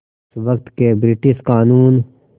उस वक़्त के ब्रिटिश क़ानून